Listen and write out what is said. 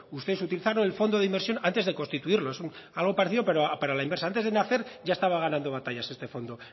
ustedes utilizaron el fondo de inversión antes de constituirlo es algo parecido pero a la inversa antes de nacer ya estaba ganando batallas este fondo